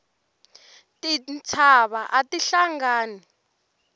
tintshava ati hlangani